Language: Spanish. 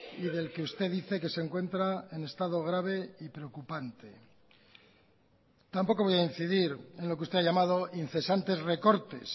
y del que usted dice que se encuentra en estado grave y preocupante tampoco voy a incidir en lo que usted ha llamado incesantes recortes